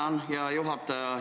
Tänan, hea juhataja!